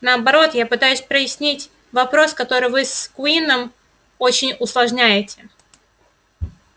наоборот я пытаюсь прояснить вопрос который вы с куинном очень усложняете